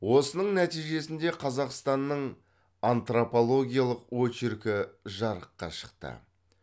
осының нәтижесінде қазақстанның антропологиялық очеркі жарыққа шықты